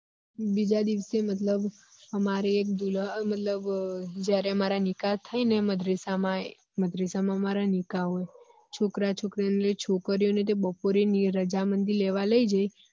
બીજા દિવેસ મતલબ અમારે મતલબ જયારે અમારા નિકા થાયે ને મદરેસા માં મદરેસા માં અમારા નીકા હોય છોકરા છોકરી છોકરી ની બપોરે રજામંદી લેવાલઇ જોઈ